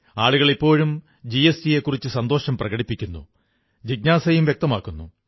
ആളുകൾ ഇപ്പോഴും ജിഎസ്ടിയെക്കുറിച്ച് സന്തോഷം പ്രകടിപ്പിക്കുന്നു ജിജ്ഞാസയും വ്യക്തമാക്കുന്നു